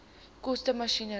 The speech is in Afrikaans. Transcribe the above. koste masjinerie